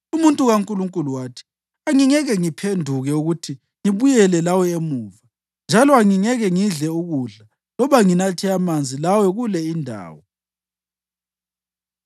Umuntu kaNkulunkulu wathi, “Angingeke ngiphenduke ukuthi ngibuyele lawe emuva, njalo angingeke ngidle ukudla loba nginathe amanzi lawe kule indawo.